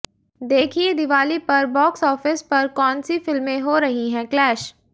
देखिए दिवाली पर बॉक्सऑफिस पर कौन सी फिल्में हो रही हैं क्लैश